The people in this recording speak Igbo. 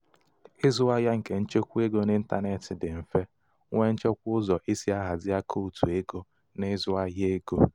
ịzụ ahịa nke nchekwa ego n'intanetị dị mfe nwee nchekwa ụzọ e si ahazi akaụtụ ego na ịzụ ahịa ego.